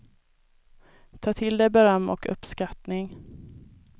Ta till dig beröm och uppskattning.